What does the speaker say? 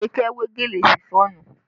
Abike we gèlè Ṣifọ́ọ̀nù